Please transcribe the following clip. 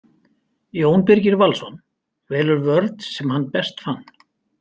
Jón Birgir Valsson velur vörn sem hann besta fann.